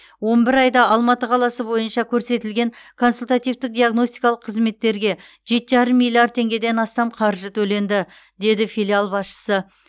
он бір айда алматы қаласы бойынша көрсетілген консультативтік диагностикалық қызметтерге жеті жарым миллиард теңгеден астам қаржы төленді деді филиал басшысы